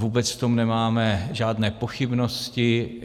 Vůbec v tom nemáme žádné pochybnosti.